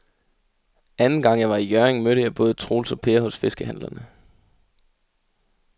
Anden gang jeg var i Hjørring, mødte jeg både Troels og Per hos fiskehandlerne.